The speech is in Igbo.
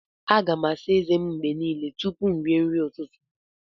A ga m na-àsá ezé m mgbe niile tupu m rie nri n'ụtụtụ